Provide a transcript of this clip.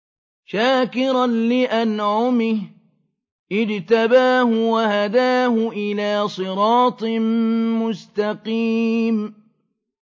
شَاكِرًا لِّأَنْعُمِهِ ۚ اجْتَبَاهُ وَهَدَاهُ إِلَىٰ صِرَاطٍ مُّسْتَقِيمٍ